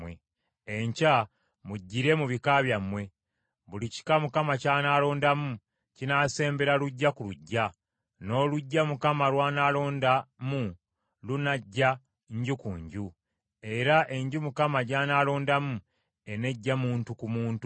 “ ‘Enkya mujjire mu bika byammwe, buli kika Mukama ky’anaalondamu kinaasembera luggya ku luggya, n’oluggya Mukama lw’anaalondamu lunajja nju ku nju, era enju Mukama gy’anaalondamu enejja muntu ku muntu.